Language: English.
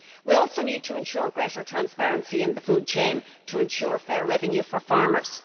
We also need to ensure greater transparency in the food chain to ensure a fair revenue for farmers.